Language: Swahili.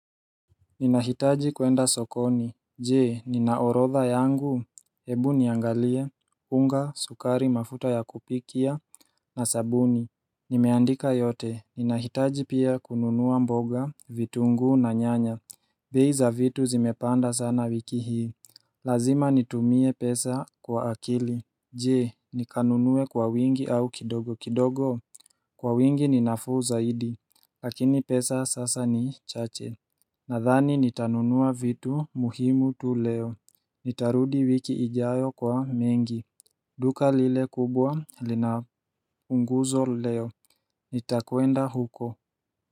Ninahitaji kwenda sokoni Jee, nina orodha yangu Hebu niangalie, unga, sukari mafuta ya kupikia, na sabuni Nimeandika yote, ninahitaji pia kununua mboga, vitunguu na nyanya bei za vitu zimepanda sana wiki hii Lazima nitumie pesa kwa akili Jee, nikanunue kwa wingi au kidogo kidogo Kwa wingi ni nafuu zaidi Lakini pesa sasa ni chache Nadhani nitanunua vitu muhimu tu leo Nitarudi wiki ijaayo kwa mengi duka lile kubwa lina punguzo leo Nitakwenda huko.